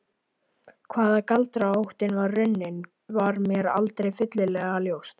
Hvaðan galdraóttinn var runninn var mér aldrei fyllilega ljóst.